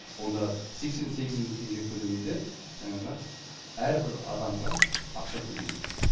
онда сексен сегіз мың теңге көлемінде жаңағы әрбір адамға ақша төлейді